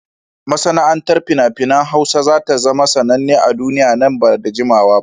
Masana'antar fina-finan Hausa za ta zama sananne a duniya nan ba da jimawa ba.